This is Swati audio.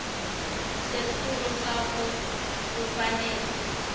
setfulo sakho kufanele